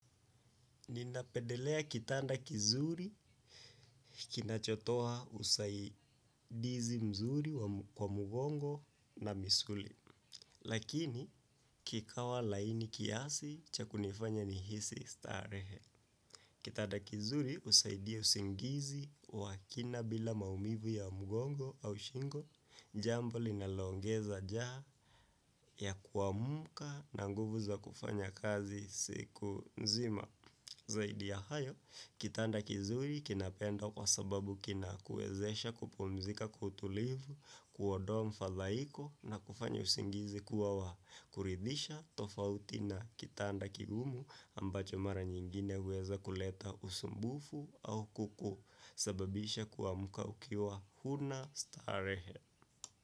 Ninapendelea kitanda kizuri kinachotoa usaidizi mzuri kwa mgongo na misuli. Lakini, kikawa laini kiasi, cha kunifanya nihisi starehe. Kitanda kizuri, husaidia usingizi wa kina bila maumivu ya mgongo au shingo, jambo linaloongeza njaa ya kuamka na nguvu za kufanya kazi siku nzima. Zaidi ya hayo kitand kizuri kinapendwa kwa sababu kina kuwezesha kupumzika kwa utulivu kuondoa mfadhaiko na kufanya usingizi kuwa wa kuridhisha tofauti na kitanda kigumu ambacho mara nyingine huweza kuleta usumbufu au ku sababisha kuamka ukiwa huna starehe.